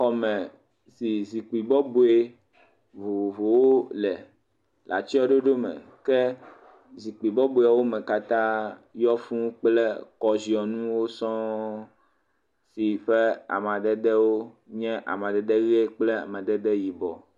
Xɔme si zikpi bɔbɔe vovovowo le le atsyɔ̃ɖoɖome. Ke zikpi bɔbɔewo me katã yɔ fũu kplɔ̃ kɔziɔnuwo sɔŋ si ƒe amadedewo nye amadede ʋe kple amadede yibɔ.